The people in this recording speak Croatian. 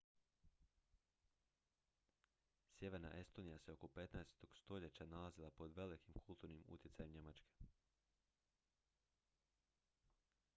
sjeverna estonija se oko 15. stoljeća nalazila pod velikim kulturnim utjecajem njemačke